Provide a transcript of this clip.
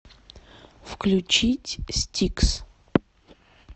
включить стикс